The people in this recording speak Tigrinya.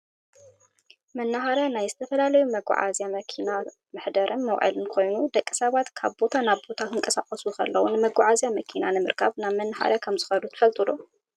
መናሃርያ ናይ ዝተፈላለዩ መጓዓዝያ መኪና መሓደርን መውዓልን ኮይኑ፣ ደቂ ሰባት ካብ ቦታ ናብ ቦታ ክንቀሳቀሱ ከለው ንመጓዓዝያ መኪና ንምርካብ ናብ መናሃርያ ከምዝከዱ ትፈልጡ ዶ?